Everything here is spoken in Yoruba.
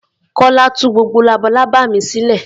Kọ́lá tú gbogbo labalábá mi sílẹ̀.